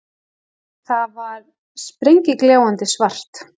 Það var spegilgljáandi svart.